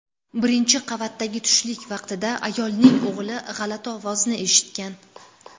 Birinchi qavatdagi tushlik vaqtida ayolning o‘g‘li g‘alati ovozni eshitgan.